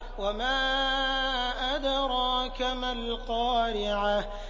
وَمَا أَدْرَاكَ مَا الْقَارِعَةُ